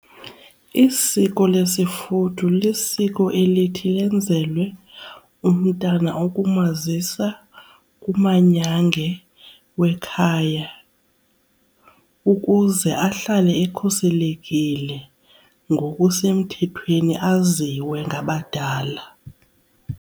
Isiko lesifuthu lisiko elithi lenzelwe umntana ukumazisa kumanyange wekhaya ukuze ahlale ekhuselekile ngokusemthethweni aziwe ngabadala.